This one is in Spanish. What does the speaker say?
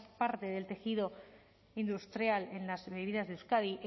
parte del tejido industrial en las bebidas de euskadi